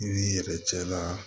I b'i yɛrɛ cɛ la